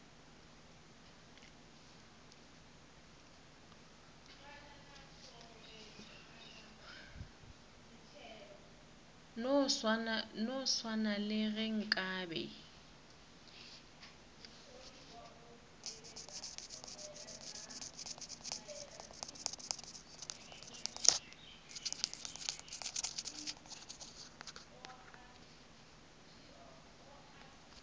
no swana le ge nkabe